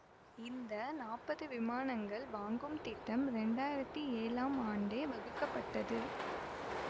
இந்த நாப்பது விமானங்கள் வாங்கும் திட்டம் இரண்டாயிரத்தி ஏழாம் ஆண்டே வகுக்கப்பட்டது